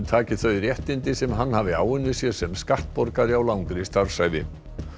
taki þau réttindi sem hann hafi áunnið sér sem skattborgari á langri starfsævi